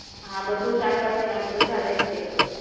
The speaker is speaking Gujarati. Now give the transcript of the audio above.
હા બધું શાકભાજી નાખ બધા વેજીટેબલ